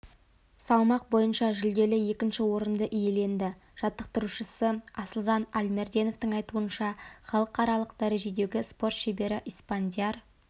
салмақ бойынша жүлделі екінші орынды иеленді жаттықтырушысы асылжан альмерденовтің айтуынша халықаралық дәрежедегі спорт шебері испандияр